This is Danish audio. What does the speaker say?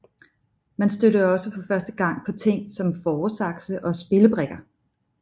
Man stødte også for første gang på ting som fåresakse og spillebrikker